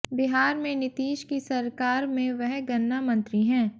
बिहार में नीतीश की सरकार में वह गन्ना मंत्री हैं